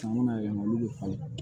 yɛlɛma olu bɛ falen